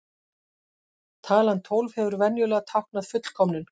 Talan tólf hefur venjulega táknað fullkomnum.